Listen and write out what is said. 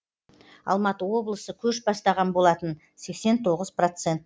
алматы облысы көш бастаған болатын сексен тоғыз процент